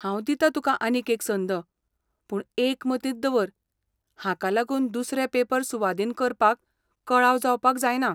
हांव दितां तुका आनीक एक संद, पूण एक मतींत दवर, हाका लागून दुसरे पेपर सुवादीन करपाक कळाव जावपाक जायना.